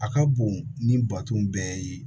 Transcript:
A ka bon ni baton bɛɛ ye